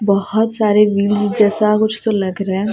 बहोत सारे व्यू जैसा कुछ तो लग रहा--